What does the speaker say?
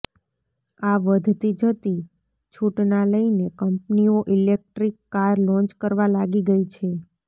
આ વધતી જતી છુટના લઈને કંપનીઓ ઇલેક્ટ્રિક કાર લોન્ચ કરવા લાગી ગઇ છે